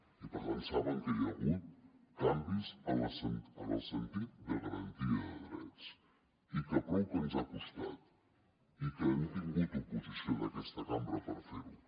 i per tant saben que hi ha hagut canvis en el sentit de garantia de drets i que prou que ens ha costat i que hem tingut oposició d’aquesta cambra per fer ho